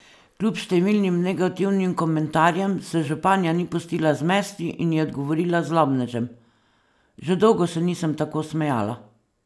Kljub številnim negativnim komentarjem se županja ni pustila zmesti in je odgovorila zlobnežem: "Že dolgo se nisem tako smejala.